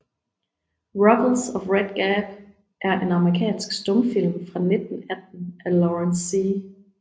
Ruggles of Red Gap er en amerikansk stumfilm fra 1918 af Lawrence C